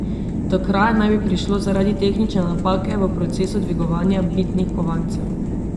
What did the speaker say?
Do kraje naj bi prišlo zaradi tehnične napake v procesu dvigovanja bitnih kovancev.